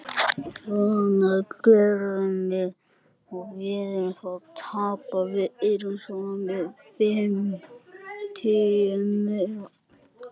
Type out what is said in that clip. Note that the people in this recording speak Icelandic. Svona, keyrðu mig heim.